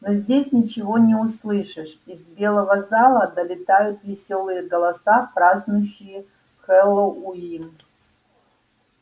но здесь ничего не услышишь из белого зала долетают весёлые голоса празднующие хэллоуин